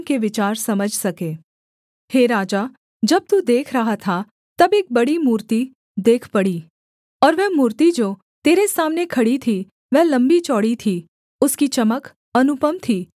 हे राजा जब तू देख रहा था तब एक बड़ी मूर्ति देख पड़ी और वह मूर्ति जो तेरे सामने खड़ी थी वह लम्बीचौड़ी थी उसकी चमक अनुपम थी और उसका रूप भयंकर था